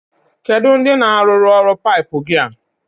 Kedu ndi na-arụrụ ọrụ paipu gi a?